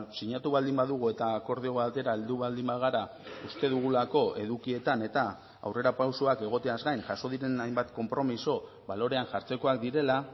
sinatu baldin badugu eta akordio batera heldu baldin bagara uste dugulako edukietan eta aurrerapausoak egoteaz gain jaso diren hainbat konpromiso balorean jartzekoak direla